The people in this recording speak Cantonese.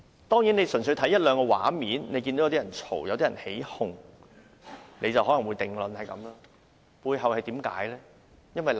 當然，純粹看一兩個畫面，看見有人吵鬧、起哄，可能便會得出這個定論，但背後有何原因呢？